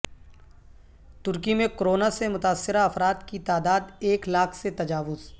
ترکی میں کورونا سے متاثرہ افراد کی تعدا د ایک لاکھ سے تجاوز